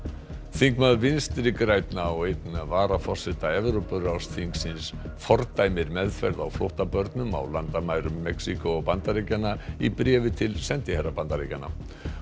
þingmaður Vinstri grænna og einn varaforseta Evrópuráðsþingsins fordæmir meðferð á flóttabörnum á landamærum Mexíkó og Bandaríkjanna í bréfi til sendiherra Bandaríkjanna